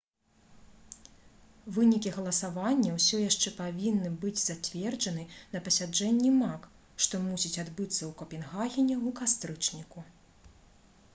вынікі галасавання ўсё яшчэ павінны быць зацверджаны на пасяджэнні мак што мусіць адбыцца ў капенгагене ў кастрычніку